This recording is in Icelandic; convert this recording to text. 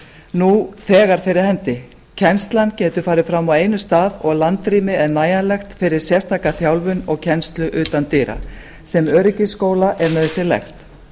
nú þegar fyrir hendi kennslan getur farið fram á einum stað og landrými er nægjanlegt fyrir sérstaka þjálfun og kennslu utan dyra sem öryggisskóla er nauðsynlegt